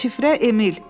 Şifrə Emil.